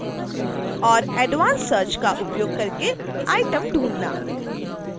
और advance search का उपयोग करके आउटम ढूँढना